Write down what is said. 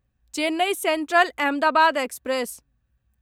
Chennai Central Ahmedabad express